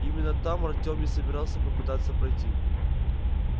именно там артём и собирался попытаться пройти